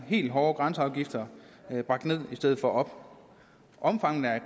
helt hårde afgifter bragt ned i stedet for op omfanget af